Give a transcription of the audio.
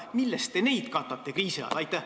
Millest te neid katate kriisi ajal?